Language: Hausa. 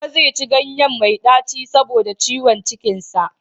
Baba zai ci ganyen mai ɗaci saboda ciwon cikin sa.